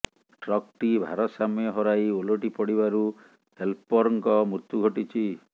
ଟ୍ରକ୍ଟି ଭାରସାମ୍ୟ ହରାଇ ଓଲଟି ପଡ଼ିବାରୁ ହେଲପର୍ଙ୍କ ମୃତ୍ୟୁ ଘଟିଛି